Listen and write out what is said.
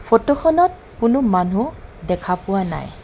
ফটোখনত কোনো মানুহ দেখা পোৱা নাই।